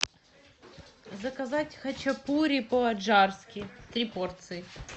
заказать хачапури по аджарски три порции